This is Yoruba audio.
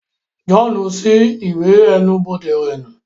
John ṣi iwè ẹnu-bode rẹ nu